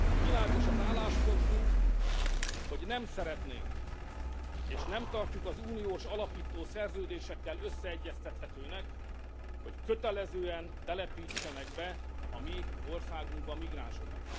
Világos az álláspontunk, hogy nem szeretnénk, és nem tartjuk az uniós alapító szerződésekkel összeegyeztethetőnek, hogy kötelezően telepítsenek be a mi országunkba migránsokat.